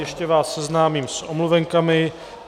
Ještě vás seznámím s omluvenkami.